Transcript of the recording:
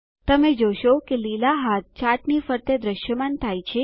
તમે જોશો કે લીલા હાથા ચાર્ટની ફરતે દ્રશ્યમાન થાય છે